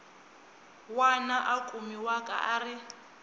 wana a kumiwaka a ri